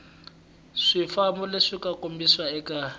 swifambo leswi nga kombisiwa eka